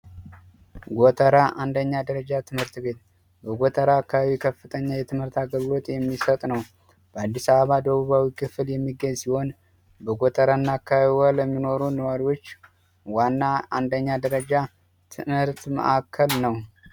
ጎተራ 1ኛ ደረጃ ትምህርት ቤት ጎተራ አካባቢ ከፍተኛ የትምህርት አገልግሎት የሚሰጥ ነው በአዲስ አበባ ደቡብ ክፍል የሚሆን በጎተራ አካባቢ ለሚኖሩ ነዋሪዎች ዋና አንደኛ ደረጃ ትምህርት ማዕከል ነው።